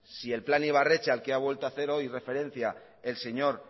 si el plan ibarretxe al que ha vuelto hacer hoy referencia el señor